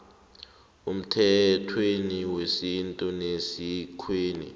emthethweni wesintu nesikweni